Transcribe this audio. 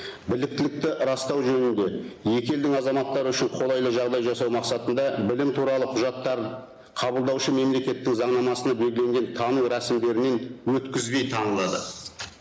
біліктілікті растау жөнінде екі елдің азаматтары үшін қолайлы жағдай жасау мақсатында білім туралы құжаттарын қабылдаушы мемлекеттің заңнамасында белгіленген тану рәсімдерінен өткізбей танылады